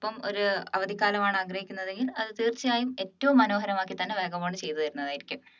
ഒപ്പം ഒരു അവധിക്കാലമാണ് ആഗ്രഹിക്കുന്നത് എങ്കിലും അത് തീർച്ചയായും ഏറ്റവും മനോഹരമാക്കി തന്നെ വാഗാബോണ്ട് ചെയ്തുവരുന്നതായിരിക്കും